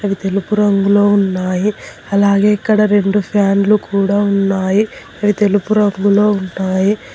అవి తెలుపు రంగులో ఉన్నాయి అలాగే ఇక్కడ రెండు ఫ్యాన్లు కూడా ఉన్నాయి అవి తెలుపు రంగులో ఉంటాయి.